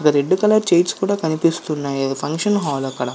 red colour chairs కూడా కనిపిస్తున్నాయి అది ఫంక్షన్ హాల్ అక్కడ